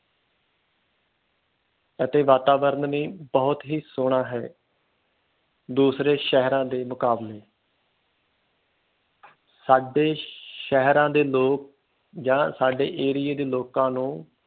ਇਥੇ ਵਾਤਾਵਰਨ ਵੀ ਬਹੁਤ ਸੋਹਣਾ ਹੈ ਦੂਸਰੇ ਸ਼ਹਿਰਾਂ ਦੇ ਮੁਕਾਬਲੇ ਸਾਡੇ ਸ਼ਹਿਰਾਂ ਦੇ ਲੋਕ ਜਾ ਸਾਡੇ ਏਰੀਏ ਦੇ ਲੋਕ ਨੂੰ